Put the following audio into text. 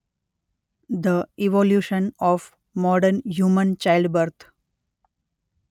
The evolution of modern human childbirth.